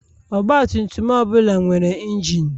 Ọgbatumtum ọbụla nwere injin.